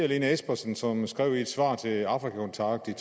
lene espersen som i et svar til afrika kontakt i